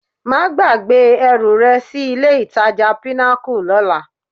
Má gbàgbé ẹrù rẹ sí ilé-ìtajà Pinnacle lọ́la